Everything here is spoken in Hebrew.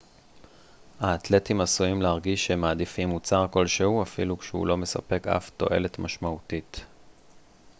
האתלטים עשויים להרגיש שהם מעדיפים מוצר כלשהו אפילו כשהוא לא מספק אף תועלת משמעותית